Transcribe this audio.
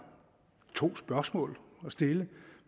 to spørgsmål at stille